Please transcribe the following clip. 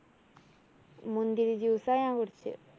മുന്തിരി juice ആ ഞാന്‍ കുടിച്ചത്.